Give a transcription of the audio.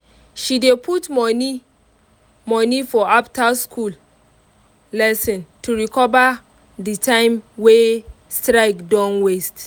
she dey put money money for after-school lesson to recover the time wey strike don waste.